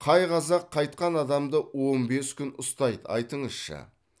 қай қазақ қайтқан адамды он бес күн ұстайды айтыңызшы